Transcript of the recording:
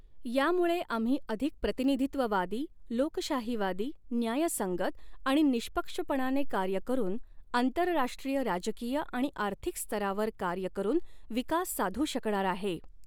यामुळे आम्ही अधिक प्रतिनिधित्ववादी, लोकशाहीवादी, न्यायसंगत आणि निःष्पक्षपणाने कार्य करून आंतरराष्ट्रीय राजकीय आणि आर्थिक स्तरावर कार्य करून विकास साधू शकणार आहे.